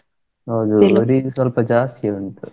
ಹೌದು ಸ್ವಲ್ಪ ಜಾಸ್ತಿ ಉಂಟು.